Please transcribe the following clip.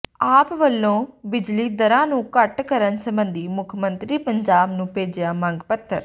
ਆਪ ਵਲੋਂ ਬਿਜਲੀ ਦਰਾਂ ਨੂੰ ਘੱਟ ਕਰਨ ਸਬੰਧੀ ਮੁੱਖ ਮੰਤਰੀ ਪੰਜਾਬ ਨੂੰ ਭੇਜਿਆ ਮੰਗ ਪੱਤਰ